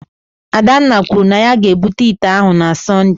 Adanna kwuru na ya ga-ebute ite ahụ na Sọnde